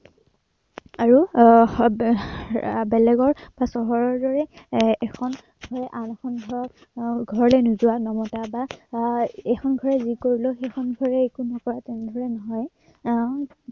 আৰু আহ হম বেলেগৰ বা চহৰৰ দৰে এৰ এখন ঘৰে এখন ঘৰলৈ নোযোৱা, নমাতা বা এৰ এইখন ঘৰে যি কৰিলেও সেইখন ঘৰে একো নোকাৱা তেনেদৰে নহয়। আহ